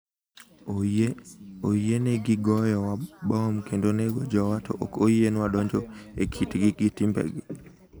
Oyienegi goyowa mbom kendo nego jowa. To ok oyienwa donjo e kitgi gi timbegi?